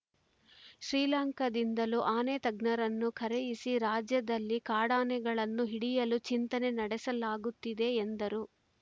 ಶ್ರೀಲಂಕಾದಿಂದಲೂ ಆನೆ ತಜ್ಞರನ್ನು ಕರೆಯಿಸಿ ರಾಜ್ಯದಲ್ಲಿ ಕಾಡಾನೆಗಳನ್ನು ಹಿಡಿಯಲು ಚಿಂತನೆ ನಡೆಸಲಾಗುತ್ತಿದೆ ಎಂದರು